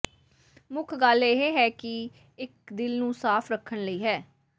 ਮੁੱਖ ਗੱਲ ਇਹ ਹੈ ਕਿ ਇੱਕ ਦਿਲ ਨੂੰ ਸਾਫ਼ ਰੱਖਣ ਲਈ ਹੈ